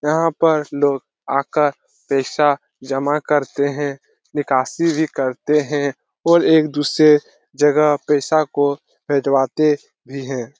यहाँ पर लोग आकर पैसा जमा करते है निकासी भी करते है और एक-दूसरे जगह पैसा को भेजवाते भी है।